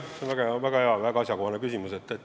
See on väga hea, väga asjakohane küsimus.